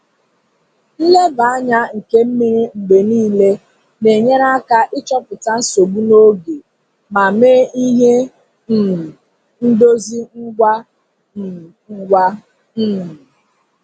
Nleba anya nke mmiri mgbe niile na-enyere aka ịchọpụta nsogbu n'oge ma mee ihe um ndozi ngwa um ngwa. um